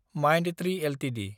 Mindtree Ltd